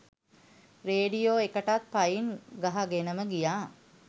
radio එකටත් පයින් ගහගෙනම ගියා